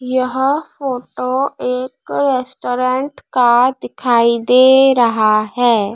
यह फोटो एक रेस्टोरेंट का दिखाई दे रहा हैं।